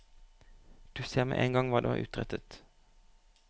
Du ser med en gang hva du har utrettet.